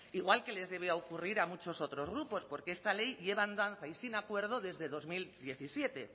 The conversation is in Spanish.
igual que les debía ocurrir a muchos otros grupos porque esta ley lleva en danza y sin acuerdo desde dos mil diecisiete